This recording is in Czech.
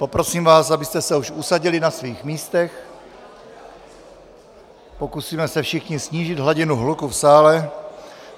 Poprosím vás, abyste se už usadili na svých místech, pokusíme se všichni snížit hladinu hluku v sále.